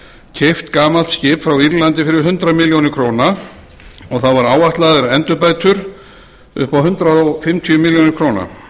keypt gamalt skip frá írlandi fyrir hundrað milljónir króna og það voru áætlaðar endurbætur upp á hundrað fimmtíu milljónir króna